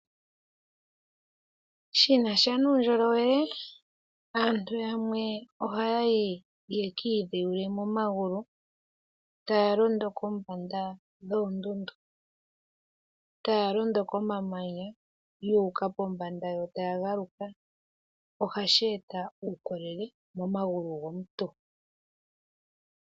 Shinasha nuundjolowele aantu yamwe ohayayi yekiidhewule momagulu taya londo kombanda yoondundu taya londokomamanya yuuka pombanda yo tayagaluka ahashi eta uundjolowele momagulu gomuntu.